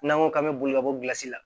N'an ko k'an bɛ boli ka bɔsi la